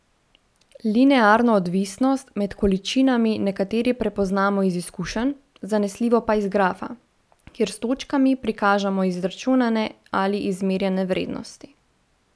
Linearno odvisnost med količinami nekateri prepoznamo iz izkušenj, zanesljivo pa iz grafa, kjer s točkami prikažemo izračunane ali izmerjene vrednosti.